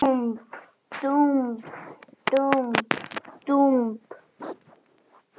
Dúmp, dúmp, dúmp, dúmp.